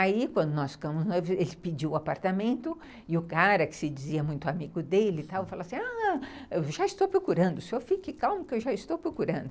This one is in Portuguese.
Aí, quando nós ficamos noivos, ele pediu o apartamento e o cara, que se dizia muito amigo dele, falou assim, ah, eu já estou procurando, o senhor fique calmo que eu já estou procurando.